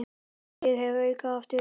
Ég hef augun aftur.